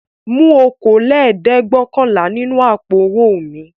Mú okòólẹ́ẹ̀dẹ́gbẹ̀ọ̀kànlá nínú àpò-owó mi!